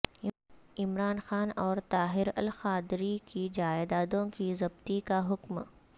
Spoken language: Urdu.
عمران خان اور طاہر القادری کی جائدادوں کی ضبطی کا حکم